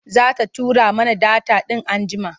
Za ta tura mana data in anjjima,